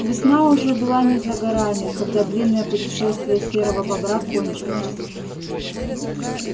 весна была уже не за горами когда длинное путешествие серого бобра кончилось